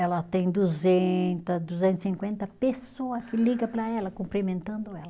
Ela tem duzenta, duzentos e cinquenta pessoa que liga para ela, cumprimentando ela.